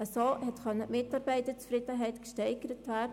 Damit konnte die Mitarbeiterzufriedenheit gesteigert werden.